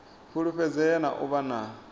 fulufhedzea na u vha na